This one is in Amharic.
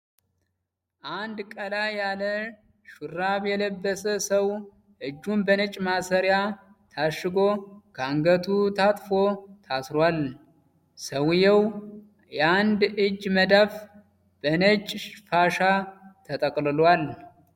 አንድ ቀላ ያለ ሹራብ የለበሰ ሰው እጁን በነጭ ማሰሪያ ታሽጎ ከአንገቱ ታጥፎ ታስሯል። የሰውየው የአንድ እጅ መዳፍ በነጭ ፋሻ ተጠቅልሏል።